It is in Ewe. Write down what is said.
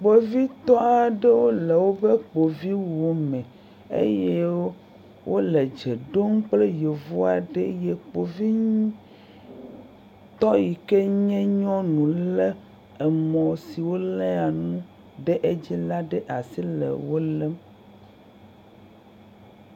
Kpovitɔ aɖewo le woƒe kpoviwu me eye wole dze ɖom kple yevu aɖe eye kpovitɔ yi ke nye nyɔnu lé amɔ si woléa nu ɖe dzi la ɖe asi le nuwo lém.